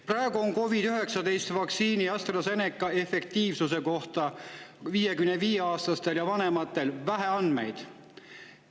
Praegu on COVID-19 vaktsiini, AstraZeneca, efektiivsuse kohta 55-aastaste ja vanemate puhul vähe andmeid.